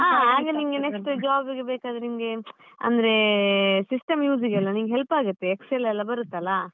ಆಗ ನಿಂಗೆ next job ಬೇಕಾದ್ರೆ ನಿನ್ಗೆ ಅಂದ್ರೆ system use ಗೆಲ್ಲ ನಿಂಗೆ help ಆಗುತ್ತೆ excel ಎಲ್ಲ ಬರುತ್ತಲ್ಲಾ?